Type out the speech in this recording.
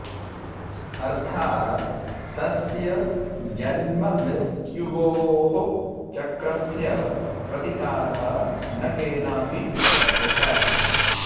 अर्थात् तस्य जन्ममृत्य्वोः चक्रस्य प्रतिकारः न केनापि शक्यः